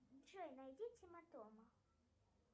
джой найди тима тома